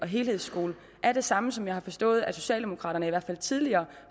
helhedsskolen er det samme som det jeg har forstået at socialdemokraterne i hvert fald tidligere